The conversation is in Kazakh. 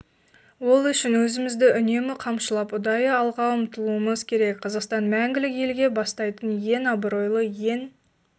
ол үшін өзімізді үнемі қамшылап ұдайы алға ұмтылуымыз керек қазақстан мәңгілік елге бастайтын ең абыройлы ең